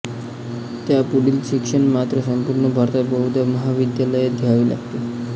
त्यापुढील शिक्षण मात्र संपूर्ण भारतात बहुधा महाविद्यालयांत घ्यावे लागते